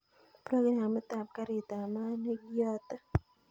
Programit ab garit ab maat nekiyote